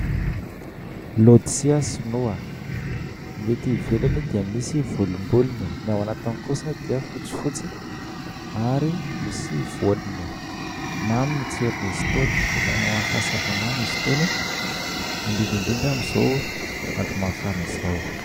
Letisia sinoa, ny ety ivelany dia misy volombolony, ny ao anatiny kosa dia fotsifotsy, ary misy voaniny. Mamy ny tsiron'izy itony, ilaina ho an'ny fahasalamana izy itony, indrindra indrindra amin'izao andro mafana izao.